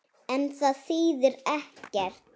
En það þýðir ekkert.